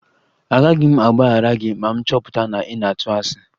Agaghị m agbaghara gị ma m chọpụta na ị na-atụ asị